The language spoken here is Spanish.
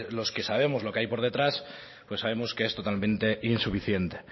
los que sabemos lo que hay por detrás pues sabemos que es totalmente insuficiente